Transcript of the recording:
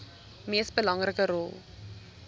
mees belangrike rol